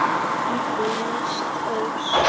Eina lest öls.